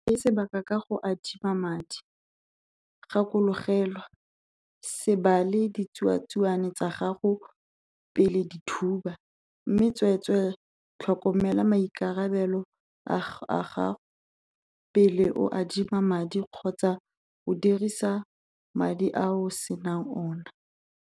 Se tseye sebaka ka go adima madi. Gakologelwa - 'Se bale ditsuatsuane tsa gago pele di thuba', mme tsweetswee tlhokomela maikarabelo a gago pele o adima madi kgotsa o dirisa madi a o se nang ona.